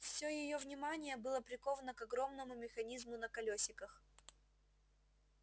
все её внимание было приковано к огромному механизму на колёсиках